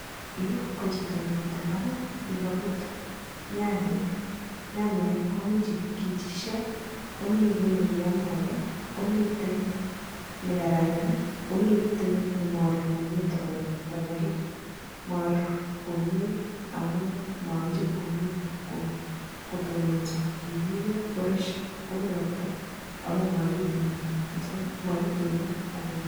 Yu kochito nemitei imbaar nekaput nyanyek, nyanyek komi che kichisyo, komi kiiy nekiam ake, komitei ne kararan, komitei nemaruur komnye toko nyalil, maruur komnye amun makichop komnye kotununso, kiruiyo koresio, kopir ropta amun makitununake.